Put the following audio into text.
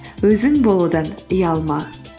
өзің болудан ұялма